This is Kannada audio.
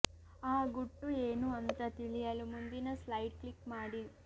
ಆ ಗುಟ್ಟು ಏನು ಅಂತ ತಿಳಿಯಲು ಮುಂದಿನ ಸ್ಲೈಡ್ ಕ್ಲಿಕ್ ಮಾಡಿ